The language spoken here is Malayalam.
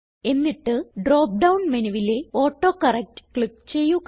എന്നിട്ട് ഡ്രോപ്പ് ഡൌൺ മെനുവിലെ ഓട്ടോകറക്ട് ക്ലിക്ക് ചെയ്യുക